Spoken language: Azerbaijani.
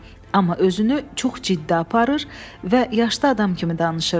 Amma özünü çox ciddi aparır və yaşlı adam kimi danışırdı.